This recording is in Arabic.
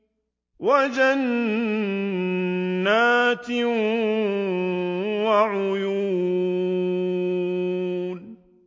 وَجَنَّاتٍ وَعُيُونٍ